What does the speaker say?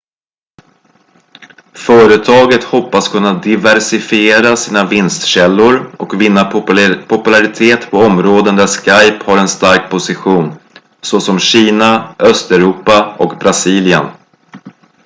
företaget hoppas kunna diversifiera sina vinstkällor och vinna popularitet på områden där skype har en stark position såsom kina östeuropa och brasilien